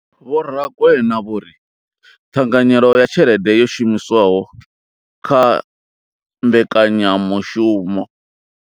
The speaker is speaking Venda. Vho Rakwena vho ri ṱhanganyelo ya tshelede yo shumiswaho kha mbekanyamushumo.